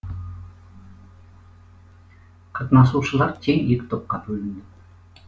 қатынасушылар тең екі топқа бөлінді